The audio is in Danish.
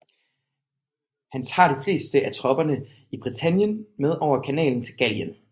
Han tager de fleste af tropperne i Britannien med over Kanalen til Gallien